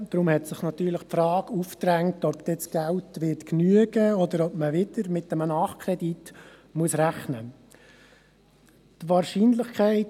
Deshalb hat sich natürlich die Frage aufgedrängt, ob das Geld dann ausreichen wird, oder ob man wieder mit einem Nachkredit rechnen muss.